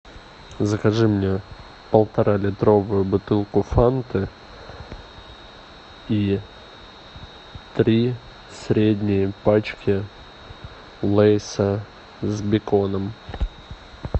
закажи мне полторалитровую бутылку фанты и три средние пачки лейса с беконом